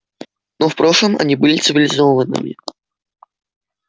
но в прошлом они были цивилизованными